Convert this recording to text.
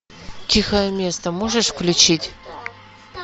тихое место можешь включить